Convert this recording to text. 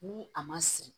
Ni a ma siri